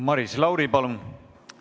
Maris Lauri, palun!